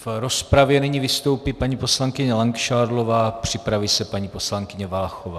V rozpravě nyní vystoupí paní poslankyně Langšádlová, připraví se paní poslankyně Váchová.